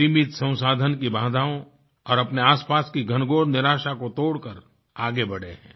सीमित संसाधन की बाधाओं और अपने आसपास की घनघोर निराशा को तोड़कर आगे बढ़े हैं